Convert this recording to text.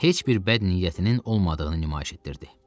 Heç bir bəd niyyətinin olmadığını nümayiş etdirdi.